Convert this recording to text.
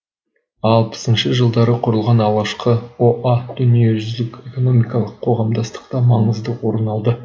алпысыншы жылдары құрылған алғашқы о а дүниежүзілік экономикалық қоғамдастықта маңызды орын алды